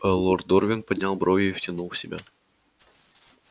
лорд дорвин поднял брови и втянул в себя